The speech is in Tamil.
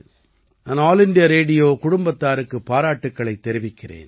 நான் ஆல் இண்டியா ரேடியோ குடும்பத்தாருக்குப் பாராட்டுக்களைத் தெரிவிக்கிறேன்